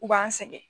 U b'an sɛgɛn